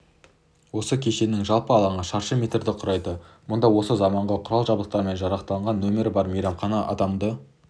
жаңа кешеннің жалпы алаңы шаршы метрді құрайды мұнда осы заманғы құрал-жабдықтармен жарақталған нөмір бар мейрамхана адамға